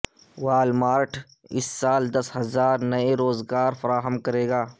وال مارٹ اس سال دس ہزار نئے روزگار فراہم کرے گا